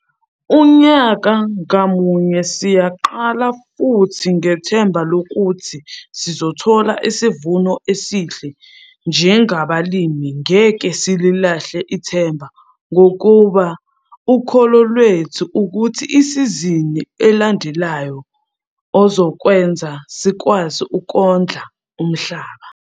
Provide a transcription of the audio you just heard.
Unyaka ngamunye siyaqala futhi ngethemba lokuthi sizothola isivuno esihle - njengabalimi ngeke sililahle ithemba ngoba ukholo lwethu ukuthi isizini elandelayo ozokwenza sikwazi ukondla umhlaba.